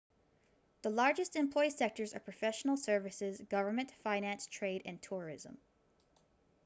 the largest employment sectors are professional services government finance trade and tourism